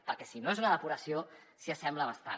perquè si no és una depuració s’hi assembla bastant